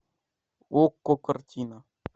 окко картина